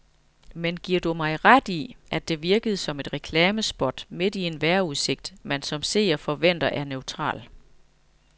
Men giver du mig ret i, at det virkede som et reklamespot midt i en vejrudsigt, man som seer forventer er neutral.